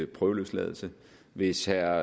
prøveløsladelse hvis herre